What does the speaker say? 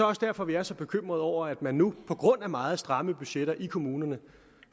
også derfor vi er så bekymrede over at man nu på grund af meget stramme budgetter i kommunerne